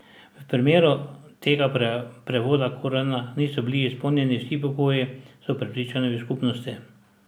V primeru tega prevoda Korana niso bili izpolnjeni vsi pogoji, so prepričani v skupnosti.